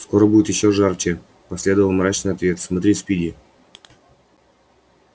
скоро будет ещё жарче последовал мрачный ответ смотри спиди